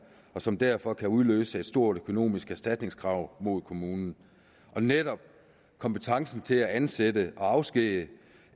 og som derfor kan udløse et stort økonomisk erstatningskrav mod kommunen netop kompetencen til at ansætte og afskedige